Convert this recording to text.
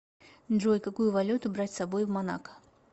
джой какую валюту брать с собой в монако